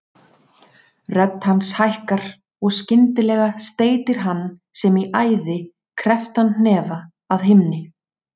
Rödd hans hækkar og skyndilega steytir hann sem í æði krepptan hnefa að himni.